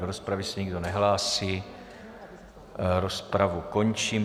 Do rozpravy se nikdo nehlásí, rozpravu končím.